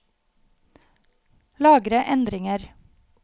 Lagre endringer